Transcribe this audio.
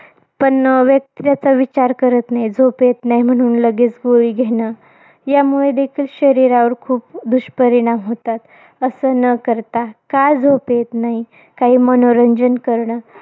पण व्यक्त व्हायचा विचार करत नाही. झोप येत नाही म्हणून लगेच गोळी घेणं. यामुळे देखील शरीरावर खूप दुष्परिणाम होतात. असं न करता. का झोप येत नाही? काही मनोरंजन करणं.